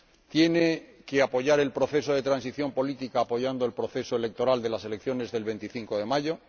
tiene que apoyar el proceso de transición política apoyando el proceso electoral de las elecciones del 25 de mayo